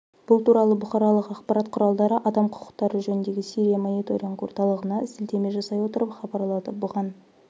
бұл туралы бұқаралық ақпарат құралдары адам құқықтары жөніндегі сирия мониторинг орталығына сілтеме жасай отырып хабарлады бұған